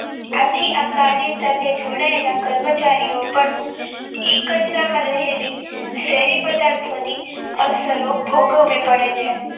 આથી આ કાર્ય સાથે જોડાયેલા કર્મચારીઓ એ કચરામાં રહેલ શેરી પદાર્થોની અસરો ભોગવી પડે છે.